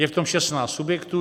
Je v tom 16 subjektů.